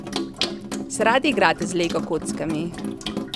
Se radi igrate z lego kockami?